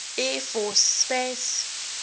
air force space